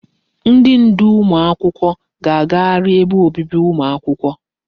Ndi ndu ụmụ akwụkwọ ga agagharị ebe obibi ụmụ akwụkwọ.